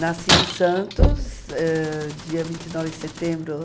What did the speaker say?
Nasci em Santos, eh, dia vinte e nove de setembro.